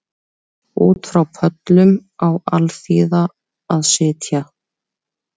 Út frá pöllum á alþýða að sitja